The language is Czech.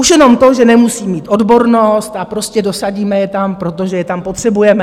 Už jenom to, že nemusí mít odbornost a prostě dosadíme je tam, protože je tam potřebujeme.